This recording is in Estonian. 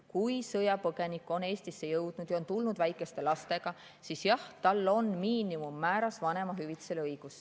Kui sõjapõgenik on Eestisse jõudnud ja on tulnud väikeste lastega, siis jah, tal on õigus miinimummääras vanemahüvitisele.